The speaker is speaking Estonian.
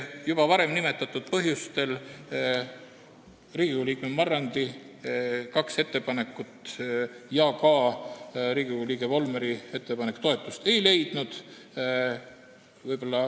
Juba varem nimetatud põhjustel Riigikogu liikme Marrandi kaks ettepanekut ja Riigikogu liikme Volmeri ettepanek toetust ei leidnud.